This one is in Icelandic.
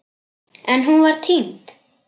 En hún var týnd.